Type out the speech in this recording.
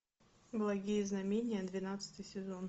благие знамения двенадцатый сезон